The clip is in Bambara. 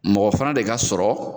Mɔgɔ fana de ka sɔrɔ